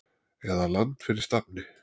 eða Land fyrir stafni.